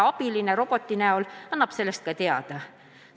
Abilisest robot annab sellest teada.